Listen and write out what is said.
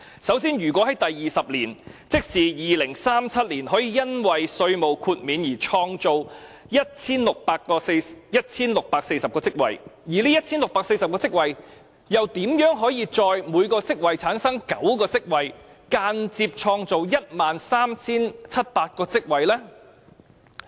首先，如果在第二十年，即是2037年可以因為稅務豁免而創造 1,640 個職位，而這 1,640 個職位又如何各自產生9個職位，間接創造 13,700 個職位呢？